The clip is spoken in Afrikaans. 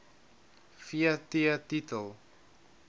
v t titel